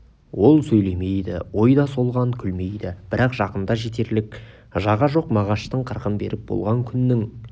ол сөйлемейді ой да солған күлмейді бірақ жақында жетерлік жаға жоқ мағаштың қырқын беріп болған күннің